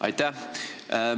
Aitäh!